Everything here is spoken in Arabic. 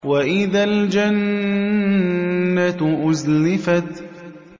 وَإِذَا الْجَنَّةُ أُزْلِفَتْ